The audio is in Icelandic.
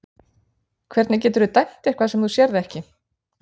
Hvernig geturðu dæmt eitthvað sem þú sérð ekki?